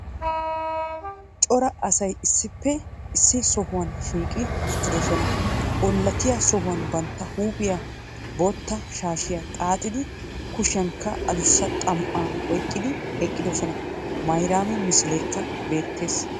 Cora asay issippe issi sohuwan shiiqqi uttiddosona. Ollatiya sohuwan bantta huuphiya bootta shaashiyan xaaxidi kushiyankka addussa xam"aa oyqqidi eqqiddossona. Mayrami misileekka beettees.